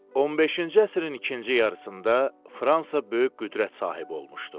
15-ci əsrin ikinci yarısında Fransa böyük qüdrət sahibi olmuşdu.